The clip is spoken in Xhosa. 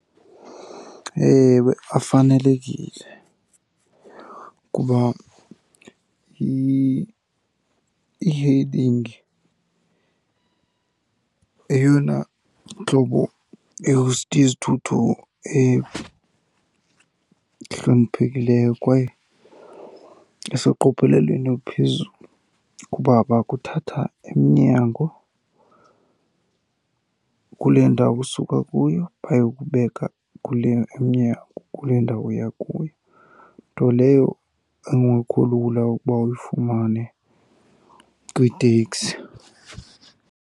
Ewe, afanelekile kuba ie-hailing yeyona ntlobo yezithuthi ehloniphekileyo kwaye iseqophelelweni oluphezulu kuba bakuthatha emnyango kule ndawo usuka kuyo bayokubeka kule emnyango kule ndawo uya kuyo. Nto leyo engekho lula ukuba uyifumane kwiiteksi.